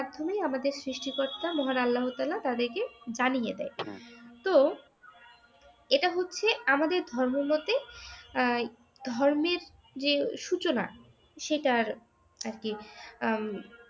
তুমি আমাদের সৃষ্টি কর্তা মহান আল্লাহ তাআলা তাদেরকে জানিয়ে দেয় । তো এইটা হচ্ছে আমাদের ধর্ম মতে আহ ধর্মের যে সূচনা সেটা আর কি উম